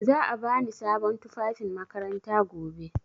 Za a bani sabon tufafin makaranta gobe.